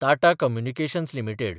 Tata communications limited